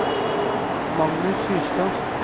Magnus Hustad